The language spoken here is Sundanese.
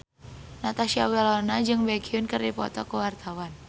Natasha Wilona jeung Baekhyun keur dipoto ku wartawan